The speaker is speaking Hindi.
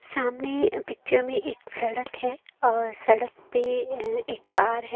सामने पिक्चर में एक सड़क है और सड़क पे अ एक कार है।